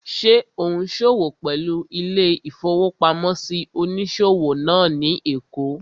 Ṣé ò ún ṣòwò pẹ̀lú ilé-ìfowópamọ́sí onísòwò náà ní èkó?